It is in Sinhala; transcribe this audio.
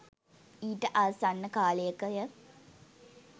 ඊට ආසන්න කාලයකය